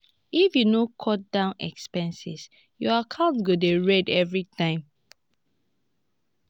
if you no cut down expenses your account go dey red every time.